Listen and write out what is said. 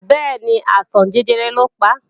Bẹ́ẹ̀ni, àìsàn jẹjẹrẹ lọ pa